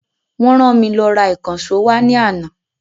Wọ́n ran mi lọ ra ìkànsó wá ní àná